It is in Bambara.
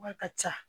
Wari ka ca